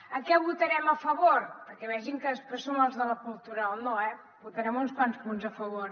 a què votarem a favor perquè vegin que després som els de la cultura del no eh votarem uns quants punts a favor